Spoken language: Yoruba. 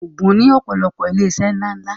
Ògùn ní ọ̀pọ̀lọpọ̀ ilé iṣẹ́ ńlá ńlá